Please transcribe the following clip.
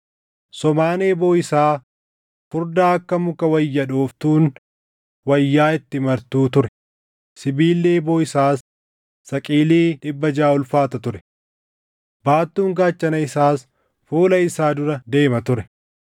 Somaan eeboo isaa furdaa akka muka wayya dhooftuun wayyaa itti martuu ture; sibiilli eeboo isaas saqilii dhibba jaʼa ulfaata ture. Baattuun gaachana isaas fuula isaa dura deema ture.